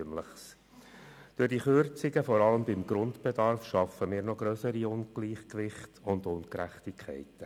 Durch die Kürzungen vor allem beim Grundbedarf schaffen wir noch grössere Ungleichgewichte und Ungerechtigkeiten.